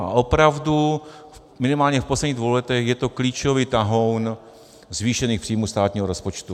A opravdu minimálně v posledních dvou letech je to klíčový tahoun zvýšených příjmů státního rozpočtu.